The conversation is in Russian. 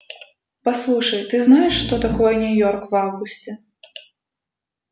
послушай ты знаешь что такое нью-йорк в августе